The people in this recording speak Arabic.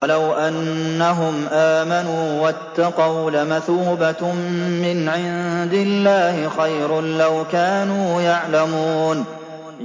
وَلَوْ أَنَّهُمْ آمَنُوا وَاتَّقَوْا لَمَثُوبَةٌ مِّنْ عِندِ اللَّهِ خَيْرٌ ۖ لَّوْ كَانُوا يَعْلَمُونَ